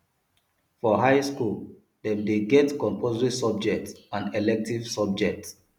for high school dem de get compulsory subjects and elective subjects